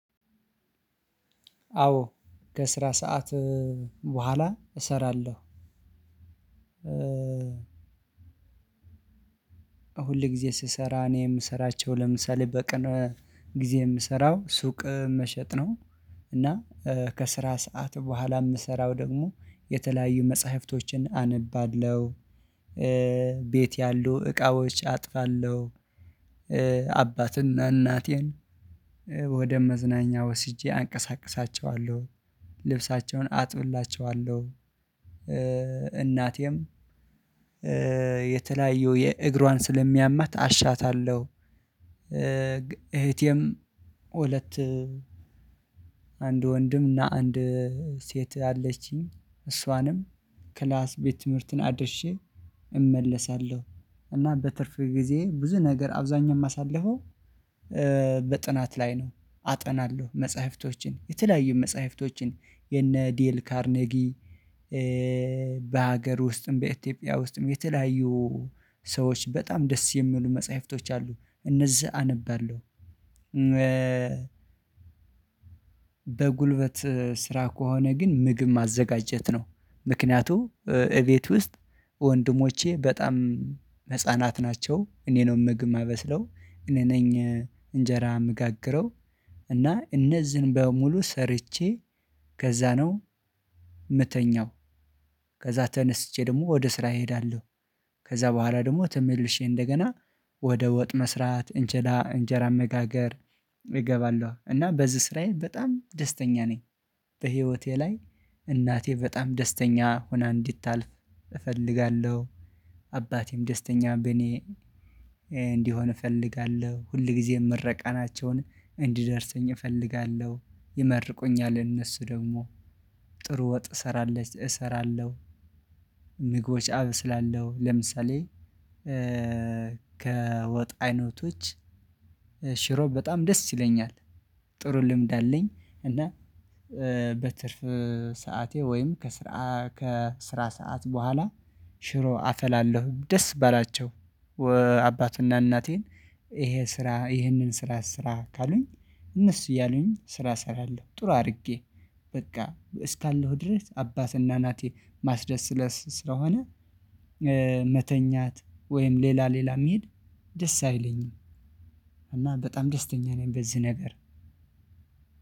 አዎ ከስራ ሰዓት በኋላ እሰራለሁ። ሁል ጊዜ ስሰራ እኔ የምሰራቸው ለምሳሌ በቀን ጊዜ የምሰራው ሱቅ መሸጥ ነው። እና ከስራ ሰዓት በኋላ የምሰራው ደግሞ የተለያዩ መጽሐፍቶችን አነባለሁ። ቤት ያሉ እቃዎች አጥፋለሁ። አባትና እናቴን ወደ መዝናኛ ወስጄ አንቀሳቅሳቸዋለሁ ልብሳቸውን አጥብላቸዋለሁ እናቴም የተለያዩ የእግሯን ስለሚያማት አሻታለሁ። እህቴም ሁለት አንድ ወንድም እና አንድ ሴት አለችኝ እሷንም ክላስ ቤት ትምህርትን አድርሼ እመለሳለሁ። እና በትርፍ ጊዜ ብዙ ነገር አብዛኛም አሳልፈው። በጥናት ላይ ነው አጠናለሁ መጽሐፍቶችን የተለያዩ መጽሐፍቶችን የነ ዴል ካርኔጊ። በሀገር ውስጥም በኢትዮጵያ ውስጥም የተለያዩ ሰዎች በጣም ደስ የሚሉ መጽሐፍቶች አሉ እነዚህ አነባለሁ። በጉልበት ስራ ከሆነ ግን ምግብ ማዘጋጀት ነው። ምክንያቱም እቤት ውስጥ ወንድሞቼ በጣም ህፃናት ናቸው እኔ ነው ምግብ የማበስለው እኔ ነኝ። እንጀራ እምጋግረው እና እነዚህን በሙሉ ሰርቼ ከዛ ነው እምተኛው። ከዛ ተነስቼ ደግሞ ወደ ስራ እሄዳለሁ። ከዛ በኋላ ደግሞ ተመልሼ እንደገና ወደ ወጥ መስራት እንጀራ እንጀራ መጋገር እገባለሁ እና በዚህ ስራዬ በጣም ደስተኛ ነኝ። በህይወቴ ላይ እናቴ በጣም ደስተኛ ሆና እንድታልፍ እፈልጋለሁ። አባቴም ደስተኛ በኔ እንዲሆን እፈልጋለሁ። ሁል ጊዜም ምረቃናቸውን እንዲደርሰኝ እፈልጋለሁ። ይመርቁኛል እነሱ ደግሞ ጥሩ ወጥ እሰራለች እሰራለሁ። ምግቦች አበስላለው ለምሳሌ ከወጥ አይነቶች ሽሮ በጣም ደስ ይለኛል ጥሩ ልምድ አለኝ። እና በትርፍ ሰዓቴ ወይም ከስራ ከስራ ሰዓት በኋላ ሽሮ አፈላለሁ። ደስ ባላቸው አባትና እናቴን ይሄ ስራ ይሄንን ስራ ስራ ካሉኝ እነሱ እያሉኝ ስራ እሰራለሁ። ጥሩ አድርጌ በቃ እስካለሁ ድረስ አባትና እናቴ ማስደሰት ስለሆነ። መተኛት ወይም ሌላ ሌላ መሄድ ደስ አይለኝም። እና በጣም ደስተኛ ነኝ በዚህ ነገር።